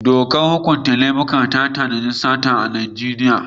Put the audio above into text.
Dokar hukunta laifuka ta tanadi sata a Najeriya.